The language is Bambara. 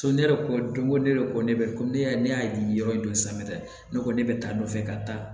So ne yɛrɛ ko don ko ne yɛrɛ ko ne bɛ ko ne y'a di yɔrɔ dɔ san dɛ ne ko ne bɛ taa nɔfɛ ka taa